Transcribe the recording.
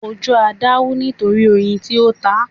Ojú Ada wú nítorí oyin tí ó tá.